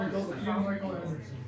Nəzər yetirək.